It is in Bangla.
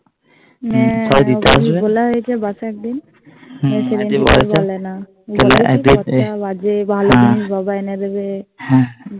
হ্যাঁ বলা হয়েছে বাসে একদিন হু থেকে আর বলেনা বলে কি পঁচা বাজে জিনিস ভালো জিনিস বাবা এনে দিবে